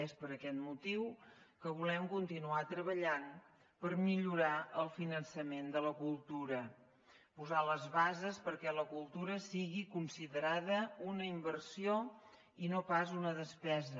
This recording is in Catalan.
és per aquest motiu que volem continuar treballant per millorar el finançament de la cultura posar les bases perquè la cultura sigui considerada una inversió i no pas una despesa